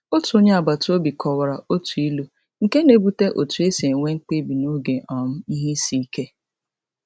Otu onye agbataobi kọwara otu ilu nke na-ebute otu e si enwe mkpebi n’oge um ihe isiike.